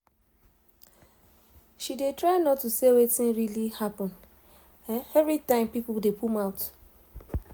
she dey try not to say wetin really happen every time pipo dey put mouth